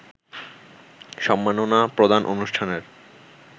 সম্মাননা প্রদান অনুষ্ঠানের